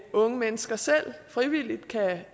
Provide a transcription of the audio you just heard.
unge mennesker selv frivilligt kan